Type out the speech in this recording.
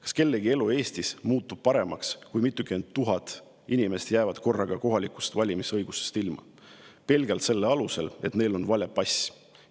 Kas kellegi elu Eestis muutub paremaks, kui mitukümmend tuhat inimest jäävad korraga kohalikel valimisõigusest ilma pelgalt selle alusel, et neil on vale pass?